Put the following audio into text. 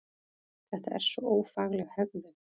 Þetta er svo ófagleg hegðun!